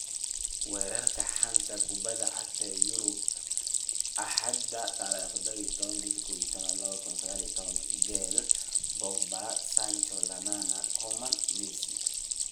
Wararka xanta kubada cagta Yurub Axada 17.11.2019: Bale, Pogba, Sancho, Lallana, Coman, Messi